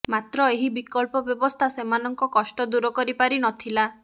ମାତ୍ର ଏହି ବିକଳ୍ପ ବ୍ୟବସ୍ଥା ସେମାନଙ୍କ କଷ୍ଟ ଦୂର କରିପାରିନଥିଲା